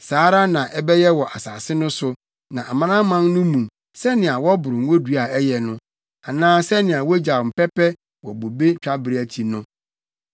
Saa ara na ɛbɛyɛ wɔ asase no so ne amanaman no mu, sɛnea wɔboro ngodua a ɛyɛ no, anaa sɛnea wogyaw mpɛpɛ wɔ bobe twabere akyi no.